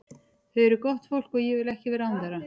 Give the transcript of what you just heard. Þau eru gott fólk og ég vil ekki vera án þeirra.